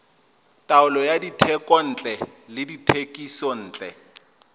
taolo ya dithekontle le dithekisontle